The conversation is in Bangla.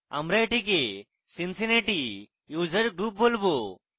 আমরা এটিকে cincinnati user group বলবো